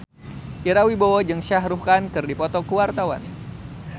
Ira Wibowo jeung Shah Rukh Khan keur dipoto ku wartawan